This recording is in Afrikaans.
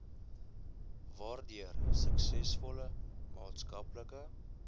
waardeur suksesvolle maatskaplike